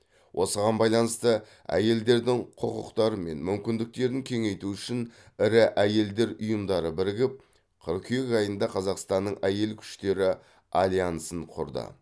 осыған байланысты әйелдердің құқықтары мен мүмкіндіктерін кеңейту үшін ірі әйелдер ұйымдары бірігіп қыркүйек айында қазақстанның әйел күштері альянсын құрды